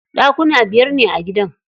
Ɗakuna biyar ne a gidan.